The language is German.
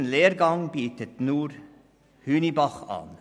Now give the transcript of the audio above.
Diesen Lehrgang bietet nur die Schule Hünibach an.